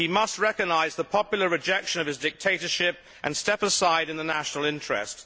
He must recognise the popular rejection of his dictatorship and step aside in the national interest.